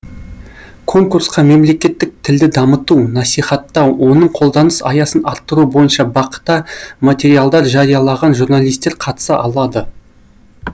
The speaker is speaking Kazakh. конкурсқа мемлекеттік тілді дамыту насихаттау оның қолданыс аясын арттыру бойынша бақ та материалдар жариялаған журналистер қатыса алады